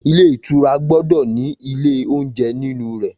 Ilé ìtura gbọdọ ni ìlẹ oúnjẹ nínú rẹ̀.